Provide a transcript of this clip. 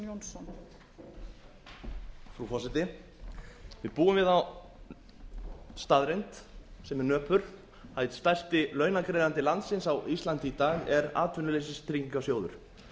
frú forseti við búum við þá staðreynd sem er nöpur að einn stærsti launagreiðandi landsins á íslandi í dag er atvinnuleysistryggingasjóður